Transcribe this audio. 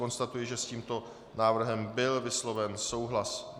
Konstatuji, že s tímto návrhem byl vysloven souhlas.